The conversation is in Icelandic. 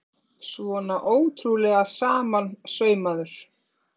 Svona ótrúlega samansaumaður!